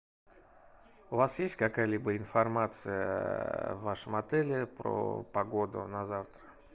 у вас есть какая либо информация в вашем отеле про погоду на завтра